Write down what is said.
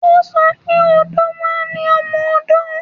O sọ pé odó náà ni ọmọ-odó